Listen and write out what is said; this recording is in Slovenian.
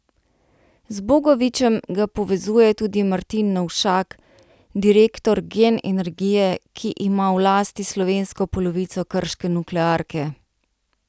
Z Bogovičem ga povezuje tudi Martin Novšak, direktor Gen Energije, ki ima v lasti slovensko polovico krške nuklearke.